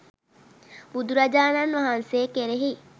බුදුරජාණන් වහන්සේ කෙරෙහි